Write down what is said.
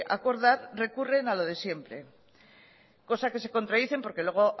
acordar recurren a lo de siempre cosa que se contradicen porque luego